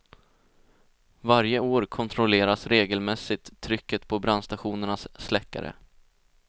Varje år kontrolleras regelmässigt trycket på brandstationernas släckare.